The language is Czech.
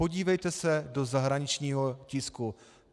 Podívejte se do zahraničního tisku.